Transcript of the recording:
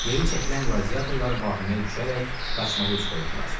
Geri çəkilən qladiatorlar vahiməyə düşərək qaçmağa üz qoydular.